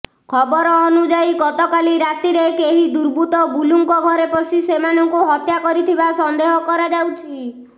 ଖବର ଅନୁଯାୟୀ ଗତକାଲି ରାତିରେ କେହି ଦୁର୍ବୁତ୍ତ ବୁଲୁଙ୍କ ଘରେ ପଶି ସେମାନଙ୍କୁ ହତ୍ୟା କରିଥିବା ସନ୍ଦେହ କରାଯାଉଛି